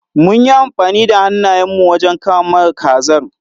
Mun yi amfani da hannayen mu wajen kama kazar.